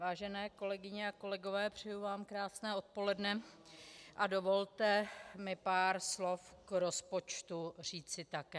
Vážené kolegyně a kolegové, přeji vám krásné odpoledne a dovolte mi pár slov k rozpočtu říci také.